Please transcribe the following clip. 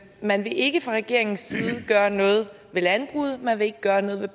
man vil ikke fra regeringens side gøre noget ved landbruget man vil ikke gøre noget ved